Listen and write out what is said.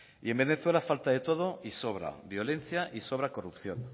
y en venezuela falta de todo y sobra violencia y sobra corrupción